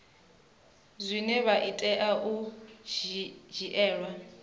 zwine zwa tea u dzhielwa